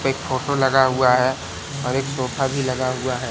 एक फोटो लगा हुआ है और एक सोफा भी लगा हुआ है।